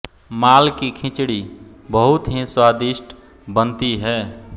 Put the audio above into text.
माल की खिचड़ी बहुत ही स्वादिष्ट बनती हैं